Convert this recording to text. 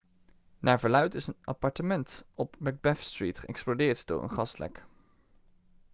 naar verluidt is een appartement op macbeth street geëxplodeerd door een gaslek